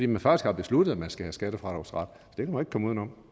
man faktisk har besluttet at man skal have skattefradragsret